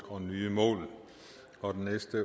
og